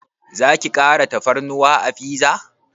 Zaki kara tafarnuwa a fiza?